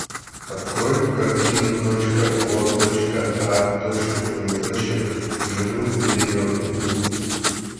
открой картину точка о точка а точка двоеточие живым или мертвым